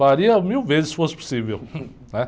Faria mil vezes se fosse possível, né?